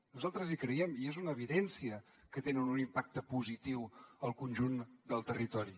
nosaltres hi creiem i és una evidència que tenen un impacte positiu al conjunt del territori